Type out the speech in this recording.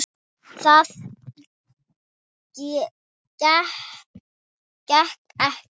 Það gekk eftir.